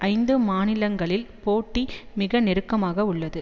ஐந்து மாநிலங்களில் போட்டி மிக நெருக்கமாக உள்ளது